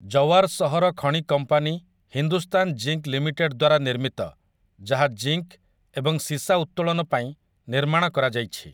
ଜୱାର ସହର ଖଣି company Hindustan zinc limited ଦ୍ୱାରା ନିର୍ମିତ, ଯାହା ଜିଙ୍କ୍ ଏବଂ ସୀସା ଉତ୍ତୋଳନ ପାଇଁ ନିର୍ମାଣ କରାଯାଇଛି ।